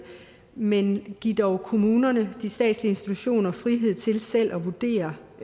men giv dog kommunerne de statslige institutioner frihed til selv at vurdere